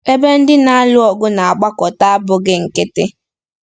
Ebe ndị na-alụ ọgụ na-agbakọta abụghị nkịtị.